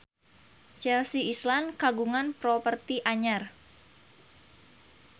Chelsea Islan kagungan properti anyar